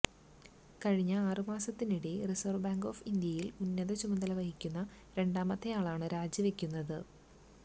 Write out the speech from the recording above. കഴിഞ്ഞ ആറുമാസത്തിനിടെ Reserve Bank of ഇന്ത്യയില് ഉന്നത ചുമതല വഹിക്കുന്ന രണ്ടാമത്തെയാളാണ് രാജിവെക്കുന്നത്